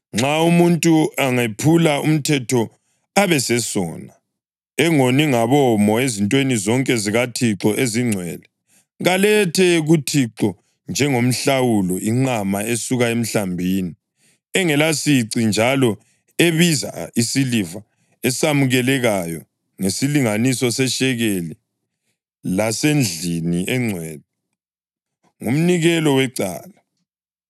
“Nxa umuntu angephula umthetho abesesona, engoni ngabomo ezintweni zonke zikaThixo ezingcwele, kalethe kuThixo njengenhlawulo inqama esuka emhlambini, engelasici njalo ebiza isiliva esamukelekayo ngesilinganiso seshekeli lasendlini engcwele. Ngumnikelo wecala.